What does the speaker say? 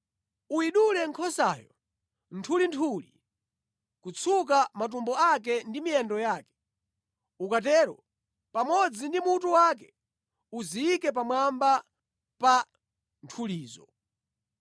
Uyidule nkhosayo nthulinthuli, kutsuka matumbo ake ndi miyendo yake. Ukatero, pamodzi ndi mutu wake, uziyike pamwamba pa nthulizo.